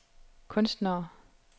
kunstnere